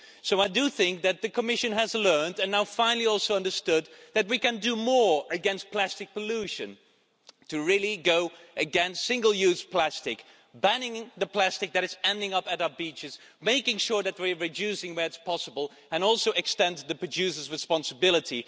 So I think that the Commission has learned and now finally also understood that we can do more against plastic pollution to really go against single-use plastic banning the plastic that is ending up on our beaches, making sure that we are reducing where possible, and also extending the producers' responsibility.